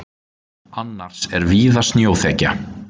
Annars er víða snjóþekja